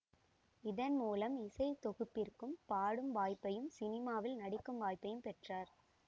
இதன் மூலம் இசை தொகுப்பிற்குப் பாடும் வாய்ப்பையும் சினிமாவில் நடிக்கும் வாய்ப்பையும் பெற்றார்